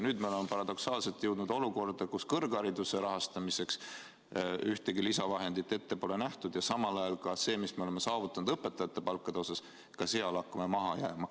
Nüüd me oleme paradoksaalselt jõudnud olukorda, kus kõrghariduse rahastamiseks ühtegi lisavahendit ette pole nähtud ja samal ajal hakkame ka selles, mis me oleme saavutanud õpetajate palkade osas, maha jääma.